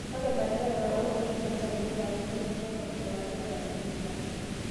Ore ilanterera oounieki nasari nenare netueshoror olanterera leriia.